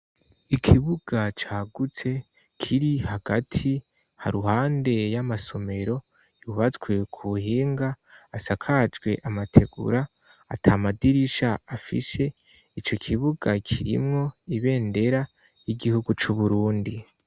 Ikibuga cagutse kiri hagati haruhande y'amasomero yubatswe ku buhinga asakajwe amategura ata madirisha afishe ico kibuga kirimwo ibendera y'igihugu c'uburundi.